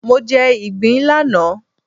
Mo jẹ ìgbín lánàá